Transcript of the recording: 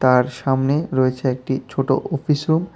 তার সামনে রয়েছে একটি ছোট অফিসও -ও।